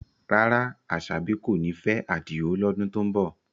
Rárá, Asabi kò ní fẹ́ Adio lọ́dún tó ń bọ̀.